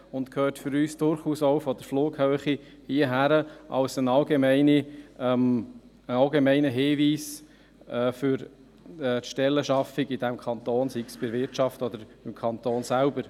Aus unserer Sicht gehört es durchaus auch von der Flughöhe her gesehen hierhin als allgemeiner Hinweis für die Schaffung von Teilzeitstellen in diesem Kanton, sei es in der Wirtschaft oder beim Kanton selber.